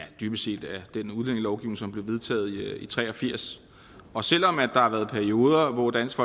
ja dybest set af den udlændingelovgivning som blev vedtaget i nitten tre og firs og selv om der har været perioder hvor dansk